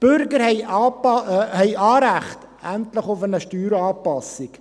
Die Bürger haben endlich Anrecht auf eine Steueranpassung.